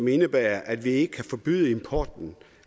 indebærer at vi ikke kan forbyde importen